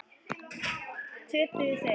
Töpuðu þau?